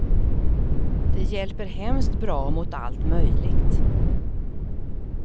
Det hjälper hemskt bra mot allt möjligt.